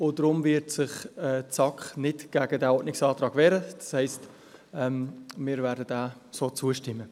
Deshalb wird sich die SAK nicht gegen diesen Ordnungsantrag wehren, das heisst, wir werden diesem so zustimmen.